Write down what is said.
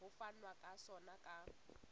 ho fanwa ka sona ka